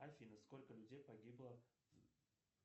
афина сколько людей погибло